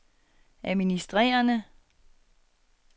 administrerende